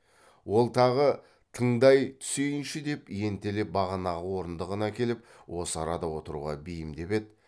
ол тағы тыңдай түсейінші деп ентелеп бағанағы орындығын әкеліп осы арада отыруға бейімдеп еді